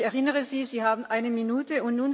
Ich erinnere Sie Sie haben eine Minute.